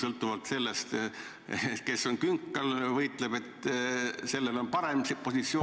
Muidugi see, kes on künkal, võitleb selle eest, et tal oleks parem positsioon ...